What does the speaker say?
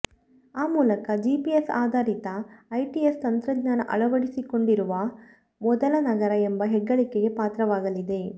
ಆ ಮೂಲಕ ಜಿಪಿಎಸ್ ಆಧಾರಿತ ಐಟಿಎಸ್ ತಂತ್ರಜ್ಞಾನ ಅಳವಡಿಸಿಕೊಂಡಿರುವ ಮೊದಲ ನಗರ ಎಂಬ ಹೆಗ್ಗಳಿಕೆಗೆ ಪಾತ್ರವಾಗಲಿದೆ